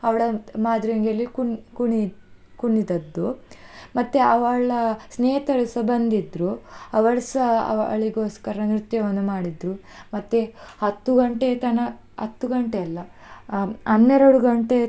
ಅವಳದ್ ಮಾದ್ರೆಂಗಿ ಅಲ್ಲಿ ಕುಣ್~ ಕುಣಿ ಕುಣಿದದ್ದು. ಮತ್ತೆ ಅವಳ ಸ್ನೇಹಿತರುಸ ಬಂದ್ದಿದ್ರು ಅವರ್ಸ ಅವಳಿಗೋಸ್ಕರ ನೃತ್ಯವನ್ನು ಮಾಡಿದ್ರು, ಮತ್ತೆ ಹತ್ತು ಗಂಟೆ ತನ~, ಹತ್ತು ಗಂಟೆ ಅಲ್ಲಾ ಆ ಹನ್ನೆರಡು ಗಂಟೆ.